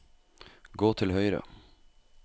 gå til høyre